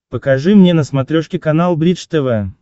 покажи мне на смотрешке канал бридж тв